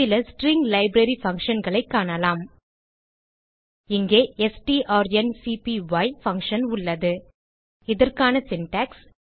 சில string library functionகளைக் காணலாம் இங்கே ஸ்ட்ரான்க்பை பங்ஷன் உள்ளது இதற்கான சின்டாக்ஸ்